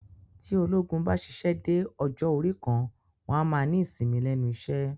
Tí ológun bá ṣíṣe dé ọjọ́ orí kan, wọn a máa ní ìsinmi lẹ́nu iṣẹ́